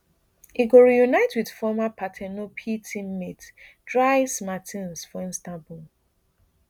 e go reunite wit former par ten opei teammate dries mer ten s for istanbul